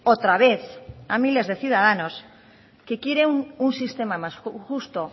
otra vez a miles de ciudadanos que quieren un sistema más justo